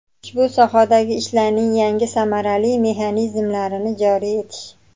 ushbu sohadagi ishlarning yangi samarali mexanizmlarini joriy etish;.